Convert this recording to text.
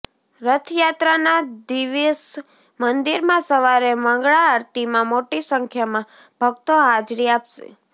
રથયાત્રાના દિવેસ મંદિરમાં સવારે મંગળા આરતીમાં મોટી સંખ્યામાં ભક્તો હાજરી આપશે